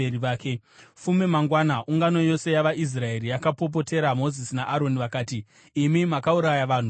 Fume mangwana, ungano yose yavaIsraeri yakapopotera Mozisi naAroni. Vakati, “Imi makauraya vanhu vaJehovha.”